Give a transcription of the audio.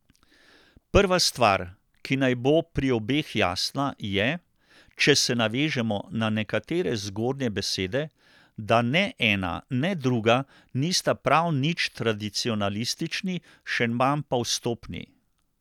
Prva stvar, ki naj bo pri obeh jasna, je, če se navežemo na nekatere zgornje besede, da ne ena ne druga nista prav nič tradicionalistični, še manj pa vstopni.